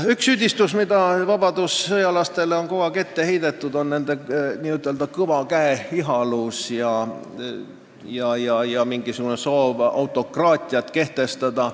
Üks asi, mida vabadussõjalastele on kogu aeg ette heidetud, on nende n-ö kõva käe ihalus ja väidetav soov autokraatiat kehtestada.